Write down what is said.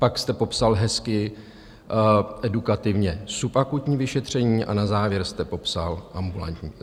Pak jste popsal hezky edukativně subakutní vyšetření a na závěr jste popsal ambulantní.